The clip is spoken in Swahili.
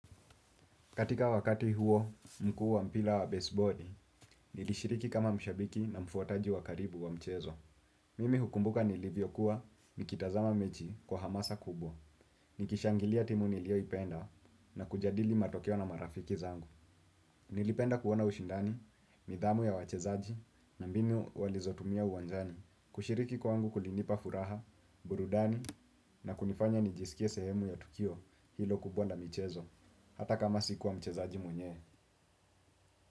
Katika wakati huo, mkuu wa mpila wa baseboli, nilishiriki kama mshabiki na mfuataji wa karibu wa mchezo. Mimi hukumbuka nilivyo kuwa, nikitazama mechi kwa hamasa kubwa, nikishangilia timu nilio ipenda na kujadili matokeo na marafiki zangu. Nilipenda kuona ushindani, nidhamu ya wachezaji, na mbinu walizotumia uwanjani, kushiriki kwangu kulinipa furaha, burudani, na kunifanya nijisikie sehemu ya tukio hilo kubwa na mchezo, hata kama sikuwa mchezaji mwenye.